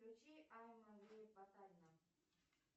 включи